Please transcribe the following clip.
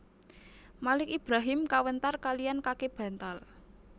Malik Ibrahim Kawentar kaliyan Kake bantal